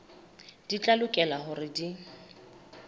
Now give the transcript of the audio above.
di tla lokela hore di